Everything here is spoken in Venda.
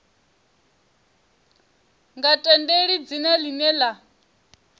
nga tendeli dzina ḽine ḽa